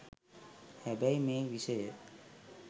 හැබැයි මේ විෂය